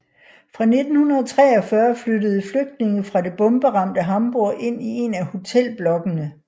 Fra 1943 flyttede flygtninge fra det bomberamte Hamburg ind i en af hotelblokkene